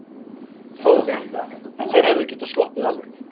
Þór: En þeir hefðu getað sloppið alveg?